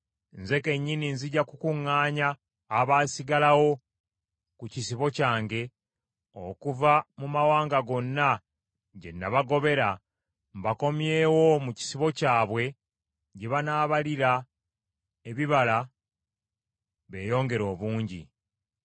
“Nze kennyini nzija kukuŋŋaanya abaasigalawo ku kisibo kyange okuva mu mawanga gonna gye nabagobera, mbakomyewo mu kisibo kyabwe, gye banaabalira ebibala beeyongere obungi.